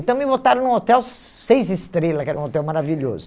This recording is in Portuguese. Então, me botaram num hotel seis estrelas, que era um hotel maravilhoso.